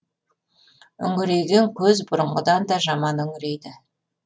үңірейген көз бұрынғыдан да жаман үңірейді